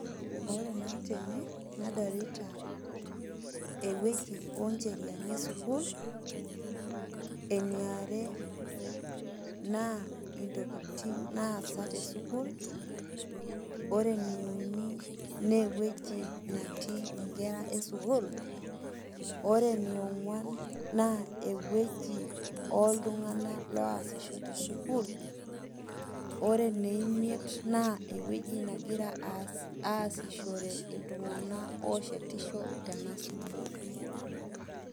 Ore naa tene nadolita ewueji o ncheriani e sukuul, eniare naa intokitin naasa te sukuul, ore ene uni naa ewueji netii nkera e sukuul, ore eni ong'uan naa ewueji oltung'anak loasisho te sukuul. Ore ene imiet naa ewoji nagira aas aasishore iltung'anak ooshetisho tena sukuul.